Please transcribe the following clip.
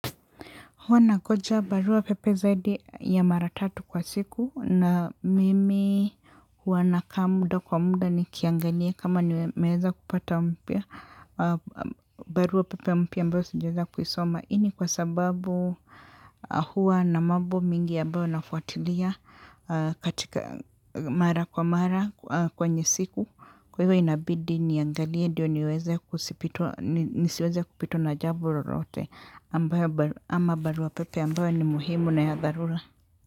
Huwa nagoja barua pepe zaidi ya maratatu kwa siku na mimi huwa na kaa muda kwa muda ni kiangalia kama nimeweza kupata mpya. Barua pepe mpya ambao sijaeza kuisoma ini kwa sababu huwa na mabo mingi ambayo nafuatilia katika mara kwa mara kwenye siku. Kwa hivyo inabidi niangalie ndio niweze kusipitwa nisiweze kupitwa na jabololote ama barua pepe ambayo ni muhimu na ya dharura.